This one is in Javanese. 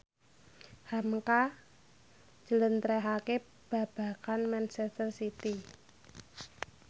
hamka njlentrehake babagan manchester city